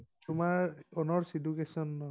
তোমাৰ honours education ন?